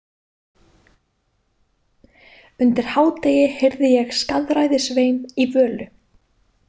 Undir hádegi heyrði ég skaðræðisvein í Völu.